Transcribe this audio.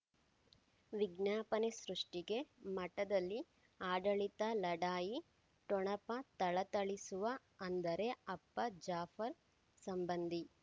ವಿಜ್ಞಾಪನೆ ಸೃಷ್ಟಿಗೆ ಮಠದಲ್ಲಿ ಆಡಳಿತ ಲಢಾಯಿ ಠೊಣಪ ಥಳಥಳಿಸುವ ಅಂದರೆ ಅಪ್ಪ ಜಾಫರ್ ಸಂಬಂಧಿ